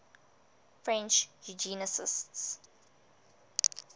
french eugenicists